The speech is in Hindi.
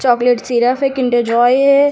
चॉकलेट सिरफ है किंडर जॉय है।